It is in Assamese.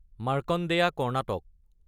মাৰখাণ্ডেয়া কৰ্ণাটক